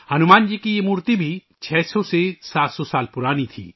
ہنومان جی کی یہ مورتی 600700 سال پرانی تھی